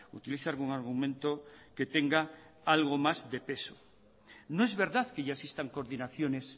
utilice algún argumento que tenga algo más de peso no es verdad que ya existan coordinaciones